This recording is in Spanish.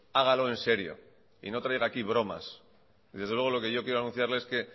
hágalo en serio y no traiga aquí bromas y desde luego lo que yo quiero anunciarle es que